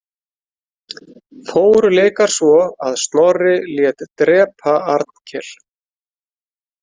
Fóru leikar svo að Snorri lét drepa Arnkel.